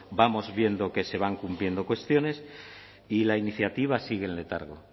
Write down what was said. vamos viendo que se van cumpliendo cuestiones y la iniciativa sigue en letargo